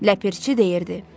Ləpirçi deyirdi: